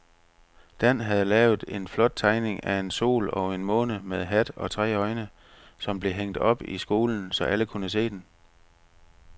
Dan havde lavet en flot tegning af en sol og en måne med hat og tre øjne, som blev hængt op i skolen, så alle kunne se den.